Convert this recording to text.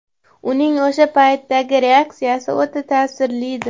Uning o‘sha paytdagi reaksiyasi o‘ta ta’sirlidir.